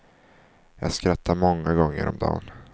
Jag skrattar många gånger om dan.